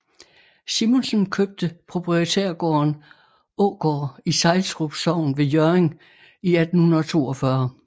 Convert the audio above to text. Simonsen købte proprietærgården Ågård i Sejlstrup Sogn ved Hjørring i 1842